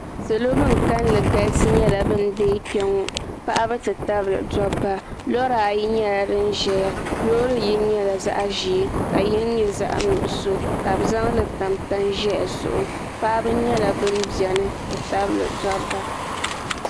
salo bin kanli galisi nyɛla bin deei kpɛ ŋo paɣaba ti tabili dabba lora ayi nyɛla din ʒɛya loori yini nyɛla zaɣ ʒiɛ ka yini nyɛ zaɣ nuɣso ka bi zaŋli tam tani ʒiɛhi zuɣu paɣaba nyɛla bin biɛni ti tabili dabba